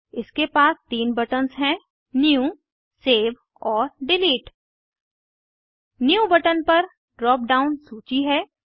इसके पास तीन बटन्स हैं न्यू सेव और डिलीट न्यू बटन पर ड्राप डाउन सूची है